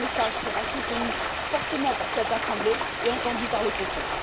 que ce message sera soutenu fortement par cette Assemblée et entendu par le Conseil.